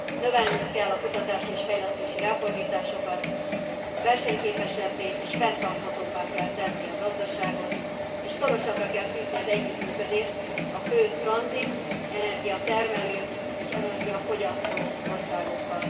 Növelnünk kell a kutatási és fejlesztési ráfordításokat, versenyképesebbé és fenntarthatóbbá kell tenni a gazdaságot, és szorosabbra kell fűzni az együttműködést a fő tranzit energiatermelő és energiafogyasztó országokkal.